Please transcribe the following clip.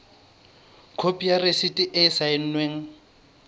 khopi ya rasiti e saennweng